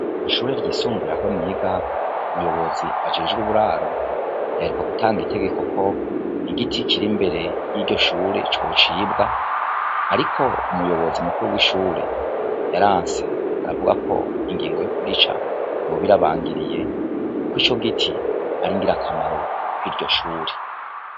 Ishure ry'isumbuye aho niga umuyobozi ajejwe uburaro yaheruka gutanga itegeko ko igiti kiri imbere y'iryo shure cocibwa, ariko umuyobozi mukuru w'ishure yaranse aravuga ko ingingo yo kugica yoba irabangiriye, kuko ico giti ar'ingira akamaro ry'ishuri.